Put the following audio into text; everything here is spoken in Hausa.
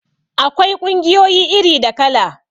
Akwai ƙungiyoyi iri da kala